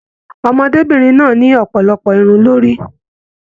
Ọmọdébinrin náà ni ọpọlọpọ Irun lórí.